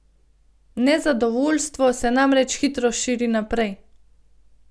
Nezadovoljstvo se namreč hitro širi naprej.